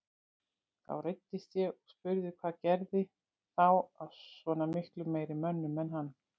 Þá reiddist ég og spurði hvað gerði þá að svona miklu meiri mönnum en hann.